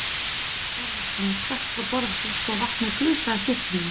Erlendur Þorvarðarson stökk frá borði svo vatnið gusaðist upp um hann.